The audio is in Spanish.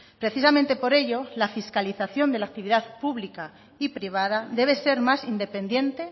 precisamente por ello la fiscalización de la actividad pública y privada debe ser más independiente